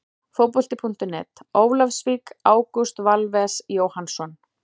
Fótbolti.net, Ólafsvík- Ágúst Valves Jóhannsson.